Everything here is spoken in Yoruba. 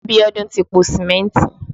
Abiodun ti po Sìmẹ́ntì